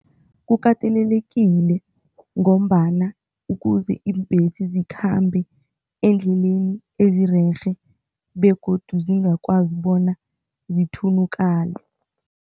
Kukatelelekile ngombana ukuze iimbhesi zikhambe eendleleni ezirerhe begodu zingakwazi bona zithunukale.